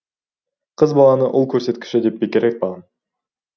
қыз баланы ұл көрсеткіші деп бекер айтпаған